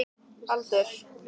Agla, hvað er klukkan?